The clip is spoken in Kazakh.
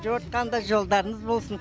жорытқанда жолдарыңыз болсын